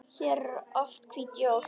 Hér eru oft hvít jól.